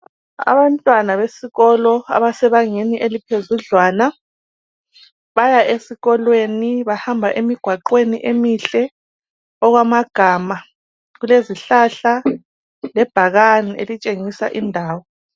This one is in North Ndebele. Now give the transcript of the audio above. Abantwana besikolo abasebangeni eliphezudlwana baya esikolweni bahamba emigwaqweni emihle okwamagama kulezihlahla lebhakane elitshengisa indawo.